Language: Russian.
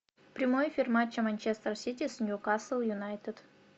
прямой эфир матча манчестер сити с ньюкасл юнайтед